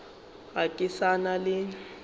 ga ke sa na le